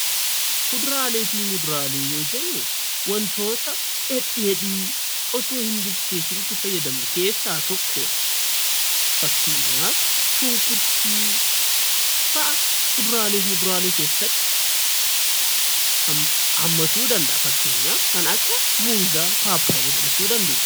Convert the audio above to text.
Kuduraalee fi muduraalee yoo jennu wantoota dhedheedhii osoo hin bilcheessiin itti fayyadamnu keessaa tokkodha. Fakkeenyaaf kanneen akka qullubbii, muuza, burtukaana papayaa fi kan kana fakkaatanidha.